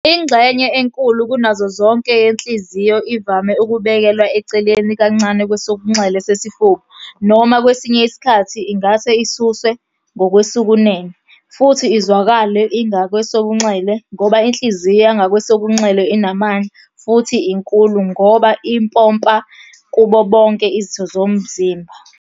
Ingxenye enkulu kunazo zonke yenhliziyo ivame ukubekelwa eceleni kancane kwesokunxele sesifuba, noma kwesinye isikhathi ingase isuswe ngakwesokunene, futhi izwakale ingakwesobunxele ngoba inhliziyo yangakwesokunxele inamandla futhi inkulu, ngoba ipompa kubo bonke izitho Zomzimba.